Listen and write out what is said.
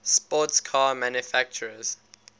sports car manufacturers